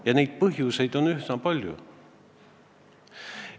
Ja neid põhjuseid on üsna palju.